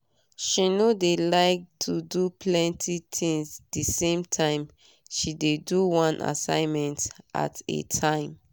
she no dey like to do plenty tinz d same time she dey do one assignment at a time